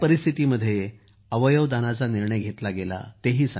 कोणत्या परिस्थितीत अवयव दानाचा निर्णय घेतला गेला